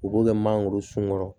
U b'o kɛ mangoro sun kɔrɔ